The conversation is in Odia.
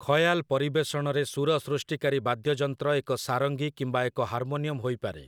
ଖୟାଲ୍ ପରିବେଷଣରେ ସୁର ସୃଷ୍ଟିକାରୀ ବାଦ୍ୟଯନ୍ତ୍ର ଏକ ସାରଙ୍ଗୀ କିମ୍ବା ଏକ ହାରମୋନିୟମ୍ ହୋଇପାରେ ।